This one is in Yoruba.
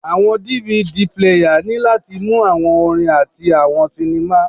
Awọn DVD player ni lati mu awọn orin ati awọn sinima